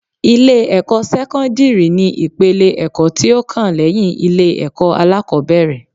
Ilé-ẹ̀kọ́ sẹ́kọ́ndírì ni ìpele ẹ̀kọ́ tí ó kàn lẹ́yìn ilé-ẹ̀kọ́ alákọ́bẹ̀rẹ̀